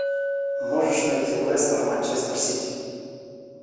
можешь найти лестер манчестер сити